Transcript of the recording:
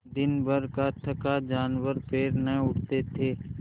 दिनभर का थका जानवर पैर न उठते थे